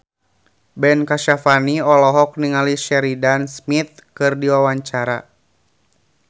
Ben Kasyafani olohok ningali Sheridan Smith keur diwawancara